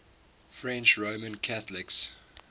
french roman catholics